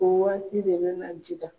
O waati de bɛ na jiga